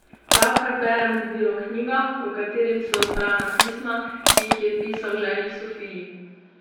Pravkar berem debelo knjigo, v kateri so zbrana pisma, ki jih je pisal ženi Sofiji.